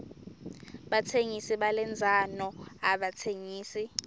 batsengisi balendzano abatsengisi